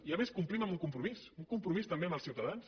i a més complim amb un compromís un compromís també amb els ciutadans